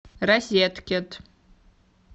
розеткет